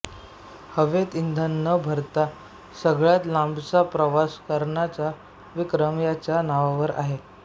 हवेत इंधन न भरता सगळ्यात लांबचा प्रवास करण्याचा विक्रम याच्या नावावर आहे